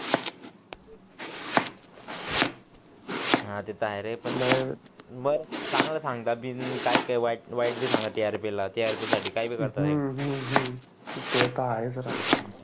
हा ते त आहे पण चांगलं सांगतात काही काही वाईट पण सांगतात टीआरपी साठी काही पण सांगतात हम्म